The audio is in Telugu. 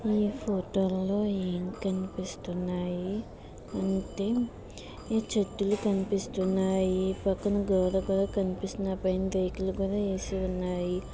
ఈ ఫోటోలో ఏం కనిపిస్తున్నాయి చెట్ట్లు కనిపిస్తున్నాయి పక్కన గోడ కూడా కనిపిస్తున్నాయి ఆ పైన రేకులు కూడా కనిపిస్తున్నాయి